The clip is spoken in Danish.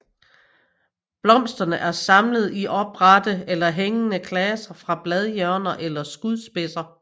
Blomsterne er samlet i oprette eller hængende klaser fra bladhjørner eller skudspidser